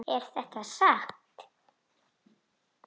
Er þetta satt?